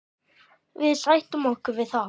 Við sættum okkur við það.